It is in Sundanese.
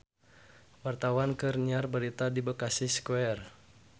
Wartawan keur nyiar berita di Bekasi Square